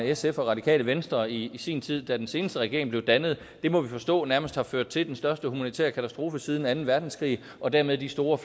sf og radikale venstre i sin tid da den seneste regering blev dannet det må vi forstå nærmest har ført til den største humanitære katastrofe siden anden verdenskrig og dermed de store